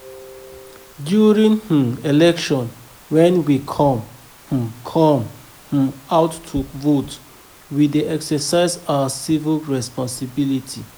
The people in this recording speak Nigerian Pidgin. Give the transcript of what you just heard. During um election when we come um come um out to come vote, we dey exercise our civic responsibility